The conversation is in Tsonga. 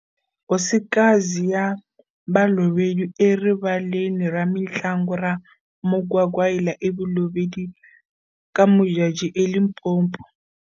Hosika zi ya Balobedu eRivaleni ra mitlangu ra Mokwakwaila eBolobedu, Ka-Modjadji eLimpopo.